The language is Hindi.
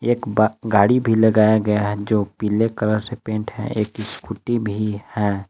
एक ब गाड़ी भी लगाया गया है जो पीले कलर से पेंट है। एक स्कूटी भी है।